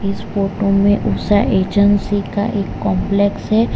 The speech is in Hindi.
इस फोटो में उषा एजेंसी का एक कॉम्पलेक्स है।